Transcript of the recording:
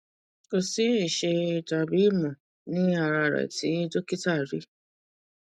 ko si ìṣe tàbí ìmọ ní ara rẹ tí dokita rí